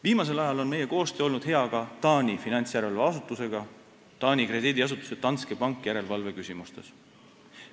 Viimasel ajal on meie koostöö olnud hea ka Taani finantsjärelevalveasutusega Taani krediidiasutuse Danske Bank järelevalve küsimustes.